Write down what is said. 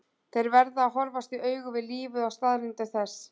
Þeir verða að horfast í augu við lífið og staðreyndir þess.